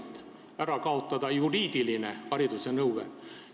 Tahetakse ära kaotada juriidilise hariduse nõue.